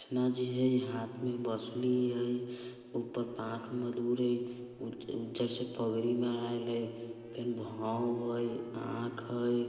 जी है हाँथ में बांसुरी है ऊपर आंख मधुर है उज उज्जर - सा पगड़ी बनाइल है फेन भोंह है आंख है।